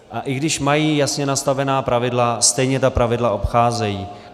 A i když mají jasně nastavená pravidla, stejně ta pravidla obcházejí.